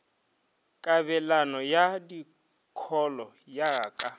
kabelano ya dikholo ya ka